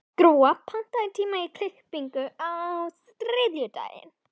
Gróa, pantaðu tíma í klippingu á þriðjudaginn.